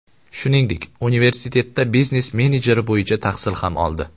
Shuningdek, universitetda biznes menejeri bo‘yicha tahsil ham oldi.